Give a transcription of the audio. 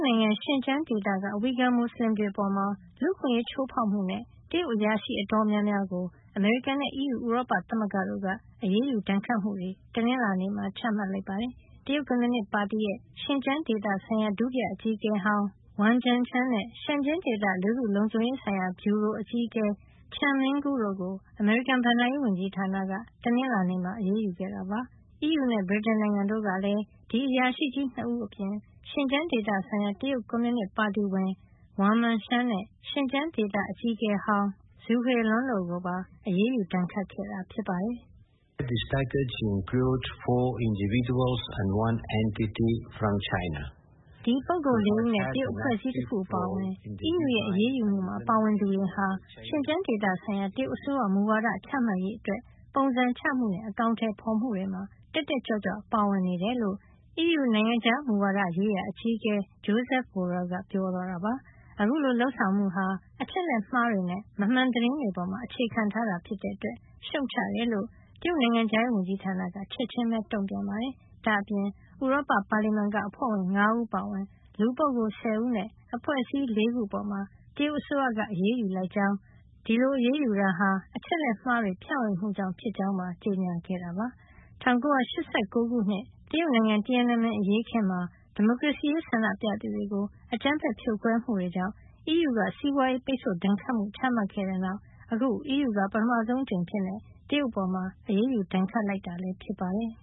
နိုင်ငံ ရှင်ကျန်းဒေသက ဝှီဂါ မူစလင်တွေ အပေါ် လူ့အခွင့်ရေးချိုးဖေါက်မှုနဲ့ တရုတ်အရာရှိအတော်များများကို အမေရိကန်နဲ့ အီးယူ ဥရောပသမဂ္ဂတို့က အရေးယူဒဏ်ခတ်မှုတွေ တနင်္လာနေ့မှာ ချမှတ်လိုက်ပါတယ်။ တရုတ်ကွန်မြူနစ်ပါတီရဲ့ ရှင်ကျန်းဒေသဆိုင်ရာ ဒုတိယအကြီးအကဲဟောင်း Wang Junzheng နဲ့ ရှင်ကျန်းဒေသ လူထုလုံခြုံရေးဆိုင်ရာ ဗျူရို အကြီးအကဲ Chen Mingguo တို့ အမေရိကန် ဘဏ္ဍာရေးဝန်ကြီးဌာနက တနင်္လာနေ့မှာ အရေးယူခဲ့တာပါ။ အီးယူနဲ့ ဗြိတိန်တို့ကလည်း ဒီအရာရှိကြီး ၂ ဦးအပြင် ရှင်ကျန်းဒေသဆိုင်ရာ တရုတ်ကွန်မြူနစ်ပါတီဝင် Wang Mingshan နဲ့ ရှင်ကျန်းဒေသအကြီးအကဲဟောင်း Zhu Hailun တို့ကိုပါ အရေးယူ ဒဏ်ခတ်ခဲ့တာဖြစ်ပါတယ်။ "ဒီပုဂ္ဂိုလ် ၄ ဦးနဲ့ တရုတ်အဖွဲ့အစည်း တခု အပါအဝင် အီးယူရဲ့ အရေးယူမှုမှာ ပါဝင်သူတွေဟာ ရှင်ကျန်းဒေသဆိုင်ရာ တရုတ်အစိုးရမူဝါဒ ချမှတ်ရေး အတွက် ပုံစံချမှုနဲ့ အကောင်ထည်ဖေါ်မှု တွေမှာ တက်တက်ကြွကြွ ပါဝင်နေတယ် " လို့ အီးယူ နိုင်ငံခြားမူဝါဒရေးရာ အကြီးအကဲ Josep Borrell က ပြောသွားတာပါ။ အခုလို လုပ်ဆောင်မှုဟာ အချက်လက်မှားတွေနဲ့ မမှန်သတင်းတွေ ပေါ် အခြေခံ ထားတာဖြစ်တဲ့ အတွက် ရှုတ်ချကြောင်း တရုတ်နိုင်ငံခြားရေးဝန်ကြီးဌာနက ချက်ချင်းပဲ တုန့်ပြန်ခဲ့ပါတယ်။ ဒါ့အပြင် ဥရောပပါလီမန်က အဖွဲ့ဝင် ၅ ဦးအပါအဝင် လူပုဂ္ဂိုလ် ၁၀ ဦးနဲ့ အဖွဲ့အစည်း ၄ ခုအပေါ် တရုတ်အစိုးရက အရေးယူကြောင်း ဒါဟာ အချက်လက်မှားတွေ ဖြန့်ဝေမှုကြောင့်ဖြစ်ကြောင်းပါ ကြေညာခဲ့ပါတယ်။ ၁၉၈၉ ခုနှစ် တရုတ်နိုင်ငံ Tiananmen အရေးအခင်းမှာ ဒီမိုကရေစီရေး ဆန္ဒပြသူတွေကို အကြမ်းဖက်ဖြိုခွဲမှုကြောင့် အီးယူကစီးပွါးရေး ပိတ်ဆို့ဒဏ်ခတ်မှု ချမှတ်ခဲ့တဲ့နောက် အခု အီးယူက ပထမဆုံး အကြိမ် တရုတ်အပေါ် ဒဏ်ခတ်အရေးယူလိုက်တာ ဖြစ်ပါတယ်